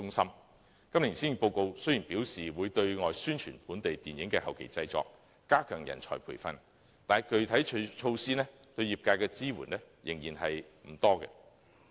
雖然今年的施政報告表示會對外宣傳本地電影的後期製作，加強人才培訓，但具體措施對業界的支援仍然不多。